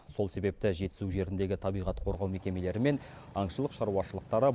сол себепті жетісу жеріндегі табиғат қорғау мекемелері мен аңшылық шаруашылықтары